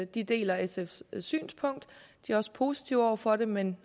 de deler sfs synspunkt de er også positive over for det men